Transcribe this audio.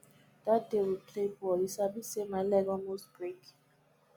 that day we play ball you sabi say my leg almost break